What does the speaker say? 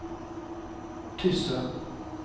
Tysse